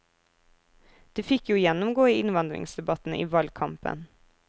De fikk jo gjennomgå i innvandringsdebatten i valgkampen.